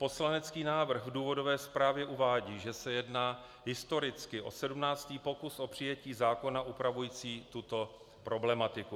Poslanecký návrh v důvodové zprávě uvádí, že se jedná historicky o 17. pokus o přijetí zákona upravujícího tuto problematiku.